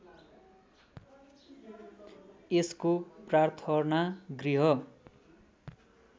यसको प्रार्थना गृह